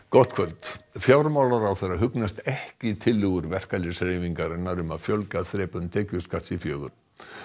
gott kvöld fjármálaráðherra hugnast ekki tillögur verkalýðshreyfingarinnar um að fjölga þrepum tekjuskatts í fjögur